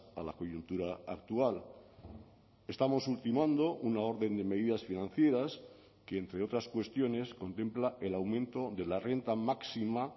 a la coyuntura actual estamos ultimando una orden de medidas financieras que entre otras cuestiones contempla el aumento de la renta máxima